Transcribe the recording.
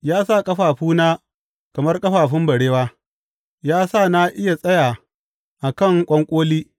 Ya sa ƙafafuna kamar ƙafafun barewa; ya sa na iya tsaya a kan ƙwanƙoli.